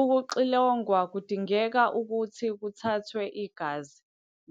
Ukuxilongwa kudinga ukuthi kuthathwe igazi